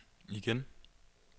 igen